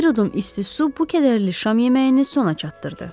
Bir udum isti su bu kədərli şam yeməyini sona çatdırdı.